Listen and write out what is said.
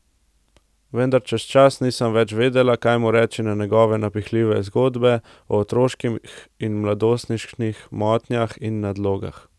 Vendar čez čas nisem več vedela, kaj mu reči na njegove napihnjene zgodbe o otroških in mladostniških motnjah in nadlogah.